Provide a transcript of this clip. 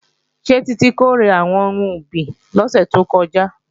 Ṣé Títí kórè àwọn ohun ọ̀gbìn lọ́sẹ̀ tó kọjá?